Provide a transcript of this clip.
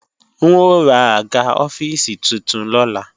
N ó ra àga ọ́fíìsì titun lọ́la